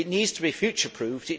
It needs to be future proofed